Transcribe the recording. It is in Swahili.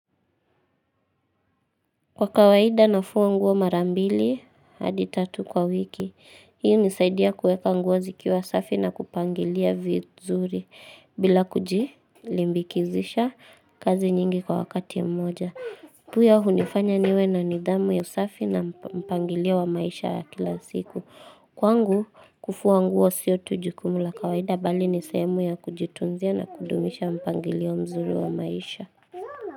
Kwa kawaida nafua nguo marambili haditatu kwa wiki Hiu nisaidia kuweka nguo zikiwa safi na kupangilia vizuri bila kuji limbikizisha kazi nyingi kwa wakati mmoja huyo hunifanya niwe na nidhamu ya safi na mpangilio wa maisha ya kila siku Kwangu kufua nguo sio tujikumula kawaida bali nisayemu ya kujitunzia na kudumisha mpangilio mzuri wa maisha.